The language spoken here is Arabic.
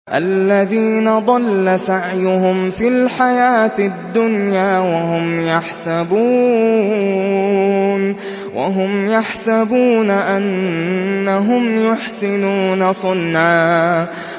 الَّذِينَ ضَلَّ سَعْيُهُمْ فِي الْحَيَاةِ الدُّنْيَا وَهُمْ يَحْسَبُونَ أَنَّهُمْ يُحْسِنُونَ صُنْعًا